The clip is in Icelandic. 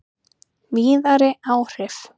Víðari áhrif